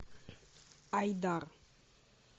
айдар